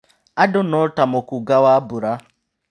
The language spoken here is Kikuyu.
Andũ no ta mũkũnga wa mbura.